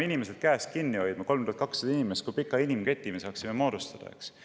Kui me paneksime 3200 inimest üksteisel käest kinni hoidma, kui pika inimketi me saaksime moodustada!